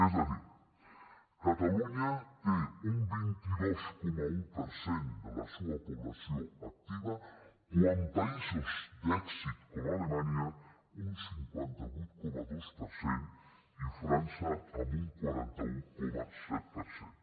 és a dir catalunya té un vint dos coma un per cent de la seua població activa quan països d’èxit com alemanya un cinquanta vuit coma dos per cent i frança amb un quaranta un coma set per cent